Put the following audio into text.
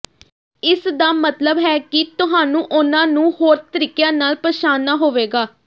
ਇਸ ਦਾ ਮਤਲਬ ਹੈ ਕਿ ਤੁਹਾਨੂੰ ਉਨ੍ਹਾਂ ਨੂੰ ਹੋਰ ਤਰੀਕਿਆਂ ਨਾਲ ਪਛਾਣਨਾ ਹੋਵੇਗਾ